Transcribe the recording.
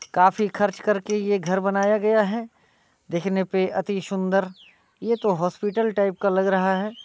काफी खर्च करके ये घर बनाया गया है| देखने पे अति सुन्दर। ये तो हॉस्पिटल टाईप का लग रहा है।